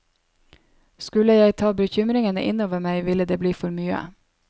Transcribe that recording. Skulle jeg ta bekymringene inn over meg ville det bli for mye.